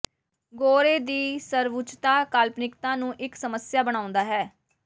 ਗੋਰੇ ਦੀ ਸਰਵਉਚਤਾ ਕਾਲਪਨਿਕਤਾ ਨੂੰ ਇੱਕ ਸਮੱਸਿਆ ਬਣਾਉਂਦਾ ਹੈ